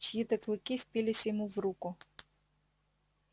чьи то клыки впились ему в руку